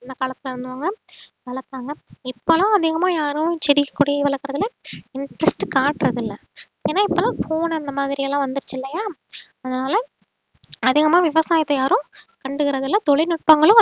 அந்த காலத்துல இருந்தவங்க வளர்த்தாங்க இப்ப எல்லாம் அதிகமா யாரும் செடி கொடியை வளர்க்கறது இல்லை interest காட்றதில்லை ஏன்னா இப்ப எல்லாம் phone அந்த மாதிரி எல்லாம் வந்துருச்சு இல்லையா அதனால அதிகமா விவசாயத்தை யாரும் கண்டுக்கறது இல்லை தொழில்நுட்பங்களும்